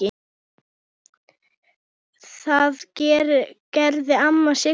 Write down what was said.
Það gerði amma Sigga.